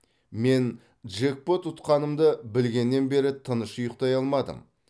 мен джекпот ұтқанымды білгеннен бері тыныш ұйықтай алмадым